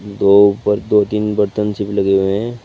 दो ऊपर दो तीन बर्तन लगे हुए हैं।